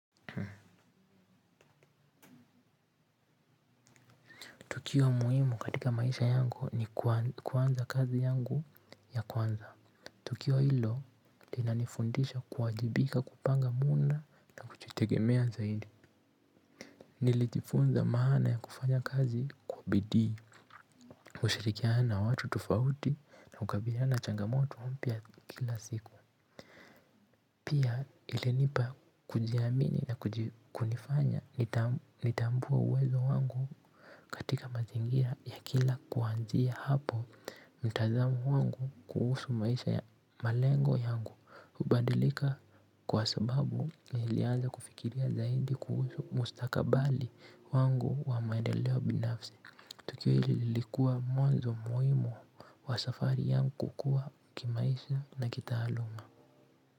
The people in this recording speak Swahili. Tukio muhimu katika maisha yangu ni kuanza kazi yangu ya kwanza. Tukio hilo, lina nifundisha kuwajibika kupanga muhula na kujitegemea zaidi. Nilijifunza maana ya kufanya kazi kwa bidii, kushirikina na watu tofauti na kukabiliana na changamoto mpya kila siku. Pia ilinipa kujiamini na kunifanya nitambue uwezo wangu katika mazingira ya kila kwanzia hapo. Mtazamo wangu kuhusu maisha ya malengo yangu hubandilika kwa sababu ilianza kufikiria zaidi kuhusu mustakabali wangu wa maendeleo binafsi. Tukio hili lilikua mwanzo muhimu wa safari yangu kukua kimaisha na kitaaluma.